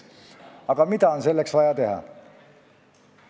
Aga mida on selleks teha vaja?